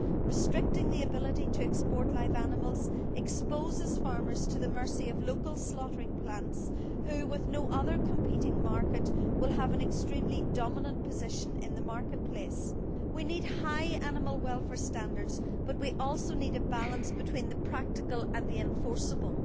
Restricting the ability to export live animals exposes farmers to the mercy of local slaughtering plants which, with no other competing market, will have an extremely dominant position in the market place. We need high animal welfare standards but we also need a balance between the practical and the enforceable.